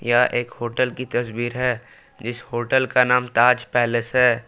यह एक होटल की तस्वीर है जिस होटल का नाम ताज पैलेस है।